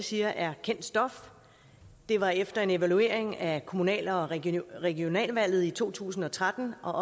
siger er kendt stof det var efter en evaluering af kommunal og regionalvalget i to tusind og tretten og